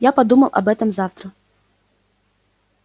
я подумаю об этом завтра